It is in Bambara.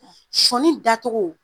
sɔɔni dacogo